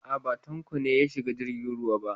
A'a, ba Tanko ne ya shiga jirgin ruwa ba.